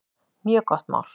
Mjög gott mál.